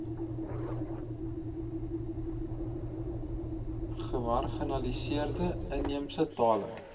gemarginaliseerde inheemse tale